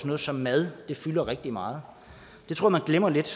noget som mad fylder rigtig meget jeg tror man glemmer lidt